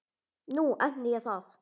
Nú efni ég það.